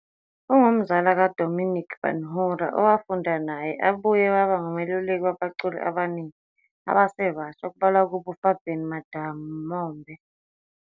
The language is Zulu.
Ungumzala kaDominic Benhura, owafunda naye, ubuye waba ngumeluleki wabaculi abaningi abasebasha okubalwa kubo uFabian Madamombe.